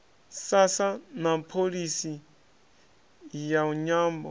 sasa na pholisi ya nyambo